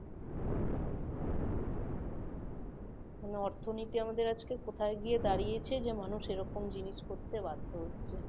মানে অর্থনীতি আমাদের আজকে কোথায় গিয়ে দাঁড়িয়েছে যে মানুষ এমন জিনিস করতে বাধ্য হচ্ছে